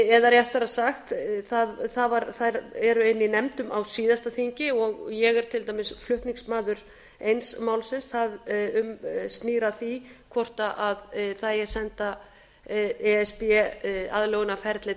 eða réttara sagt þær eru inni í nefndum á síðasta þingi og ég er til dæmis flutningsmaður eins málsins sem snýr að því hvort það eigi að senda e s b aðlögunarferlið